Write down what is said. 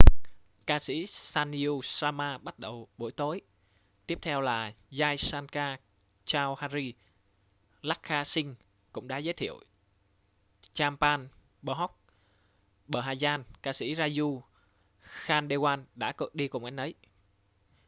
ca sĩ sanju sharma bắt đầu buổi tối tiếp theo là jai shankar choudhary lakkha singh cũng đã giới thiệu chhappan bhog bhajan ca sĩ raju khandelwal đã đi cùng anh ấy